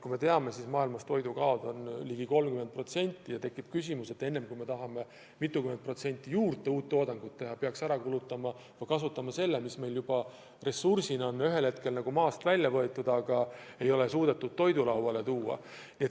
Kui me teame, et maailmas toidukaod on ligi 30%, siis tekib mõte, et enne kui mitukümmend protsenti uut toodangut juurde teha, peaks ära kasutama selle, mis meil ressursina juba on ühel hetkel maast välja võetud, aga ei ole suudetud toidulauale tuua.